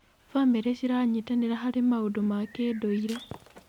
Bamĩrĩ ciranyitanĩra harĩ maũndũ ma kĩndũire.